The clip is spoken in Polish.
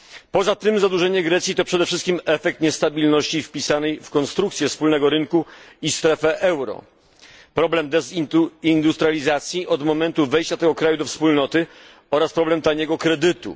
Poza tym zadłużenie Grecji to przede wszystkim efekt niestabilności wpisanej w konstrukcję wspólnego rynku i strefę euro, problem dezindustrializacji od momentu wejścia tego kraju do Wspólnoty oraz problem taniego kredytu.